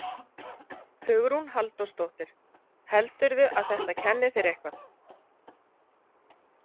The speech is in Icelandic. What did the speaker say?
Hugrún Halldórsdóttir: Heldurðu að þetta kenni þér eitthvað?